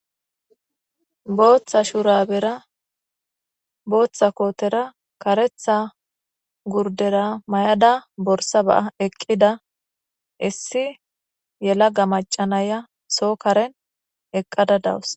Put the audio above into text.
Bootta shurabera bootta kootera karetta gurdera may'ada borsa ba'aa eqqida issi yelaga maca naya soo karen eqqada dawusu.